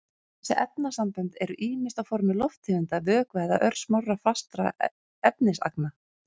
Þessi efnasambönd eru ýmist á formi lofttegunda, vökva eða örsmárra fastra efnisagna.